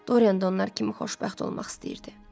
Doryan da onlar kimi xoşbəxt olmaq istəyirdi.